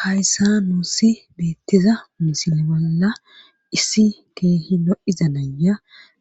hayssa nuussi beettiza misile bolla issi keehi no iza naya